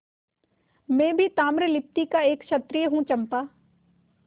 मैं भी ताम्रलिप्ति का एक क्षत्रिय हूँ चंपा